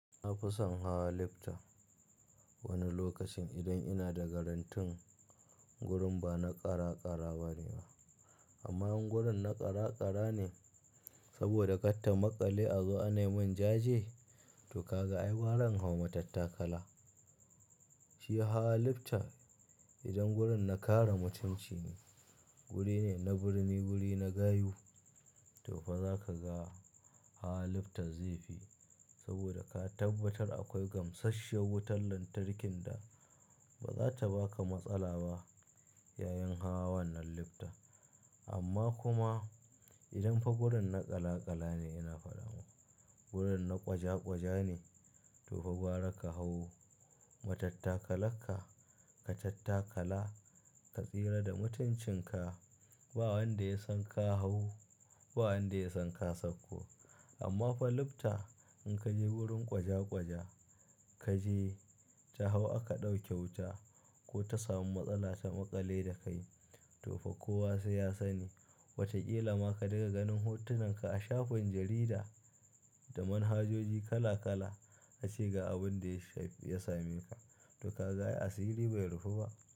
Na fi son hawa lifta wani lokacin idan ina da garantin wurin ba na ƙara ƙara bane ba. Amma in wurin na ƙara ƙara ne saboda katta maƙale a zuwa anayi min jaje to ka ga ai baron hau matattakala. Shi hawa lifta idan wurin na kara mutunci ne, wuri ne na birni wuri na gayu to fa za ka ga hawa lifta zai fi saboda ka tabbatar akwai gamsasshiyar wutar lantarkin da ba za ta baka matsala ba yayin hawan wannan lifta. Amma kuma idan fa wurin na ƙala ƙala ne ina faɗa ma, wurin na ƙwaja ƙwaja ne to fa gwara ka hau matattakalarka, ka tattakala, ka tsira da mutuncinka ba wanda ya san ka hau, ba wanda ya san ka sauko. Amma fa lifta in ka je wurin ƙwaja ƙwaja, ka je ta hau aka ɗauke wuta ko ta samu matsala ta maƙale da kai to fa kowa sai ya sani. Wataƙila ma ka ɗiga ganin hotunan ka a shafin jarida da manhajoji kala kala a ce ga abin da ya same ka to kaga ai asiri bai rufe ba.